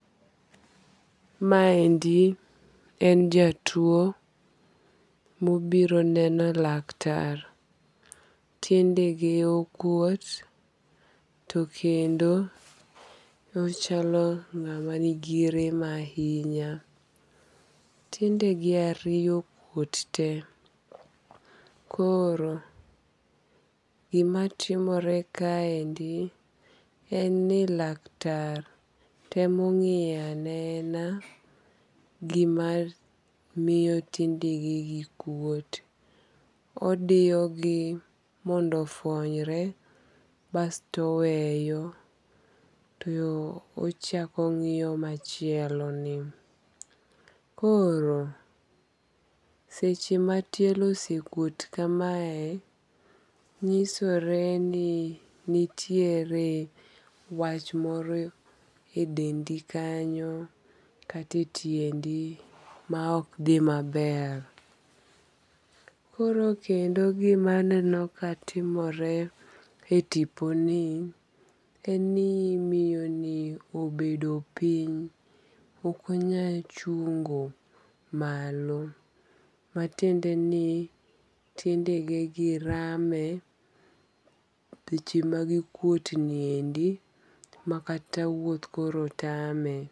Maendi en jatuo mobiro neno laktar, tiende ge okwuot to kendo ochalo ng'ama nigi rem ahinya, tiendege ariyo okuot te, koro gimatimore kaendi en ni laktar temo ng'iyo anena gima miyo tiendenegi kuot. Odiyogi mondo ofuonyre basto oweyo to ochako ong'iyo machieloni, koro seche ma tielo osekuot kamae, nyisore ni nitiere wach moro e dendi kanyo kata e tiendi ma ok dhi maber, koro kendo gimaneno ka timore e tiponi en ni miyoni obedo piny okonyal chungo malo, matiende ni tiendegegi rame seche magi kuwuotni endi makata wuoth koro tame